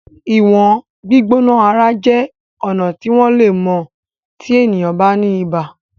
Iwọn gbígbóná ara jé ọnà tí wón lè mọ tí ènìyàn ba ní ibà.